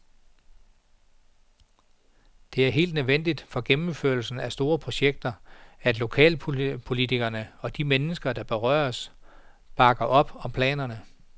Det er helt nødvendigt for gennemførelsen af store projekter, at lokalpolitikere og de mennesker, der berøres, bakker op om planerne.